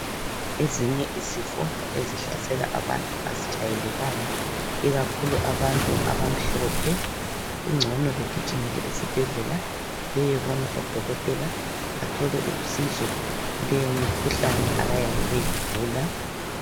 Ezinye izifo ezihlasela abantu azijayelekanga ikakhulu abantu abamhlophe kugcone begijimele esibhendlela beyebona udokotela bathole usizo kuleyomikhuhlane ababebeyigula.